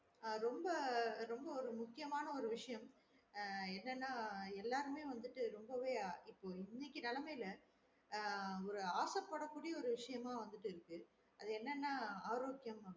ஆஹ் ரொம்ப ரொம்ப ஒரு முக்கியமான ஒரு விஷயம் ஆஹ் என்னன்னா எல்லாருமே வந்துட்டு ரொம்பவே இப்ப இன்னைக்கு நெலமையில ஆஹ் ஒரு ஆச பட கூடிய ஒரு விஷயமா வந்துட்டு இருக்கு அது என்னன்னா ஆரோக்கியம்